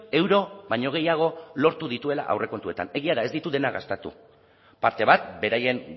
euro baino gehiago lortu dituela aurrekontuetan egia da ez ditu dena gastatu parte bat beraien